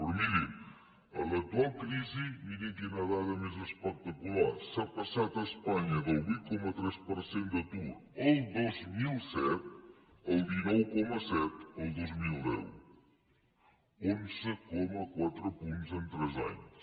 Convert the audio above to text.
però mirin en l’actual crisi mirin quina dada més espectacular s’ha passat a espanya del vuit coma tres per cent d’atur el dos mil set al dinou coma set el dos mil deu onze coma quatre punts en tres anys